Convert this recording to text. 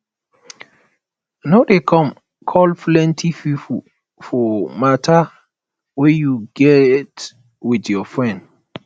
no dey come call plenty pipo for matter wey you get with your friend